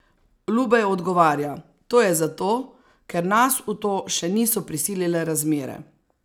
Lubej odgovarja: "To je zato, ker nas v to še niso prisilile razmere.